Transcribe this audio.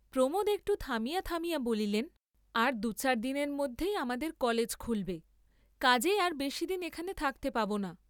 প্রমোদ একটু থামিয়া থামিয়া বলিলেন, আর দুচার দিনের মধ্যেই আমাদের কলেজ খুলবে, কাজেই আর বেশীদিন এখানে থাকতে পাব না।